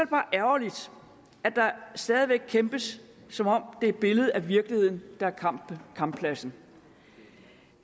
bare ærgerligt at der stadig væk kæmpes som om det er et billede af virkeligheden der er kamppladsen